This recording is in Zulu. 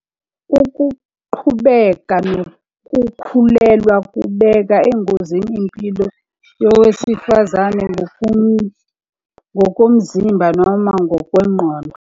Ukuqhubeka nokukhulelwa kubeka engozini impilo yowesifazane ngokomzimba noma ngokwengqondo.